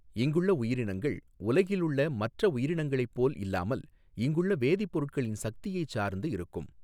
இங்குள்ள உயிரினங்கள் உலகிலுள்ள மற்ற உயிரினங்களைப்போல் இல்லாமல் இங்குள்ள வேதிப்பொருட்களின் சக்தியைச் சாா்ந்து இருக்கும்.